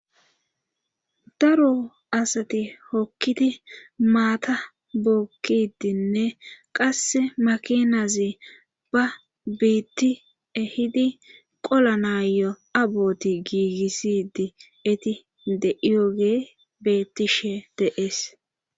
Daro asati hokkiti maata bookkidinne qasse makinazi ba biitti ehidi qola naayo aboti giigissidi eti de'iyoge bettishe deees.